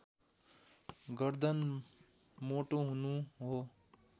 गर्दन मोटो हुनु हो